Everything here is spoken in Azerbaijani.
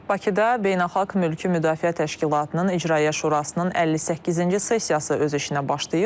Bakıda beynəlxalq mülki müdafiə təşkilatının İcraiyyə Şurasının 58-ci sessiyası öz işinə başlayıb.